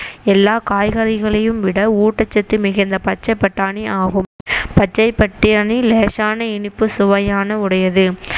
எல்லா காய்கறிகளையும் விட ஊட்டச்சத்து மிகுந்த பச்சை பட்டாணி ஆகும் பச்சை பட்டாணி லேசான இனிப்பு சுவையான உடையது